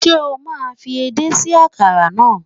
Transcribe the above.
Ṣé o máa fi edé sí àkàrà náà.